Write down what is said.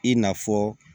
I n'a fɔ